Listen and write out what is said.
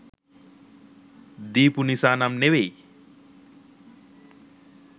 දීපු නිසා නම් නෙමෙයි.